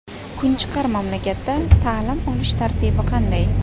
Kunchiqar mamlakatda ta’lim olish tartibi qanday?